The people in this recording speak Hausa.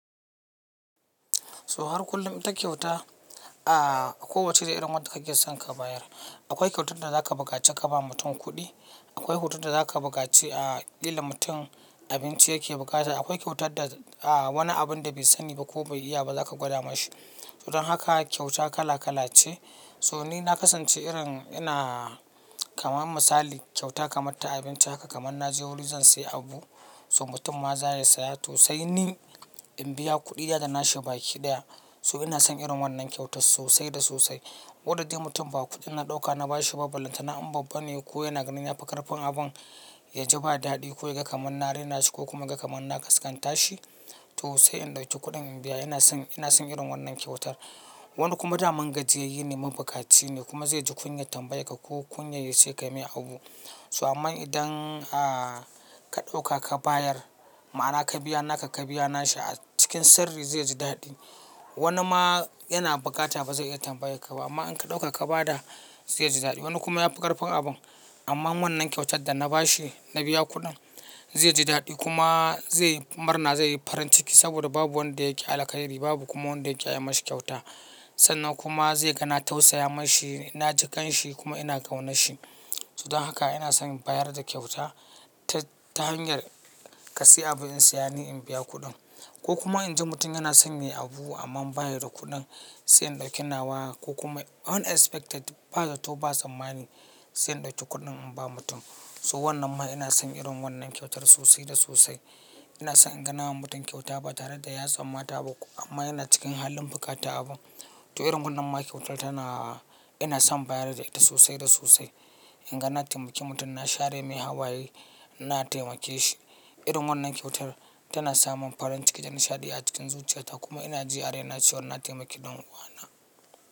So har kullum ita kyauta a kowacce irin wadda kake son ka bayar. Akwai kyautar da zaka buƙaci ka ba mutum kuɗi, akwai hoton da zaka buƙaci a ƙilla mutum abinci yake bukata. Akwai kyautar da a wani abun da bai sani ba ko bai iya ba zaka gwada mashi. Don haka kyauta kala-kala ce. So ni na kasance irin ina kamar misali kyauta kamar ta abinci haka kamar na je wuri zan sayi abu. So mutum ma za ya saya to sai ni in biya kuɗi da na shaɓe kiɗaya. So ina son irin wannan kyautar sosai da sosai. Koda dai mutum ba kuɗin na ɗauka na bashi ba, ballan tana an babban ne ko yana ganin ya fi ƙarfin abun ya ji ba daɗi ko ya ga kamar na rena shi ko kuma ya ga kamar na kaskanta shi. To sai in ɗauki kuɗin in biya. Ina son, ina son irin wannan kyautar. Wani kuma da man gajiyayyine ma bukaci ne kuma zai ji kunyar tambayar ka ko kunyar ya ce ka mai abu. So aman idan a ka ɗauka ka bayar ma ana ka biya naka ka biya nashi a cikin sirri zai ji daɗi. Wani ma yana bukata ba zai iya tambayar ka ba amma in ka ɗauka ka ba da zai ji daɗi. Wani kuma ya fi ƙarfin abun amma wannan kyautar da na bashi na biya kuɗin zai ji daɗi kuma zai murna zai yi farin ciki saboda babu wanda yake alaƙa da shi. Babu kuma wanda yake ya mashi kyauta. Sannan kuma zai gana tausaya mashi ina ji ƙan shi kuma ina ƙauna shi. Don haka ina son bayar da kyauta ta hanyar ka sayi abun in siyani in biya kuɗin. Ko kuma in ji mutum yana son me abu amma ba shi da kuɗin sai in ɗauki nawa ko kuma unexpected ba zato ba tsammani sai in ɗauki kuɗin in ba mutum. So wannan ma ina son irin wannan kyautar sosai da sosai. Ina son inga namawa mutum kyauta ba tare da ya tsammata ba amma yana cikin halin bukatan abu. To irin wannan ma kyautar tana ina son bayar da ita sosai da sosai. Inga na taimaki mutum na share mai hawaye na taimake shi. Irin wannan kyautar tana samin farin ciki da nishaɗi a cikin zuciyata kuma ina ji a raina ciwar na taimaki ɗan uwana.